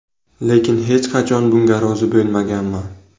Lekin hech qachon bunga rozi bo‘lmaganman.